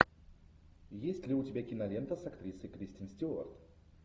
есть ли у тебя кинолента с актрисой кристен стюарт